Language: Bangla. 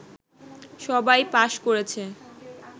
সবাই পাস করেছে